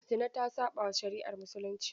Zina ta saɓawa shari'ar Musulunci.